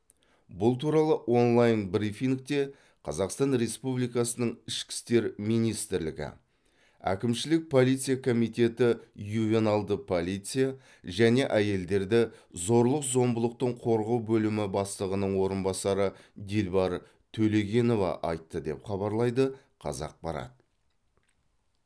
бұл туралы онлайн брифингте қазақстан республикасы ішкі істер министрі әкімшілік полиция комитеті ювеналды полиция және әйелдерді зорлық зомбылықтан қорғау бөлімі бастығының орынбасары дилбар төлегенова айтты деп хабарлайды қазақпарат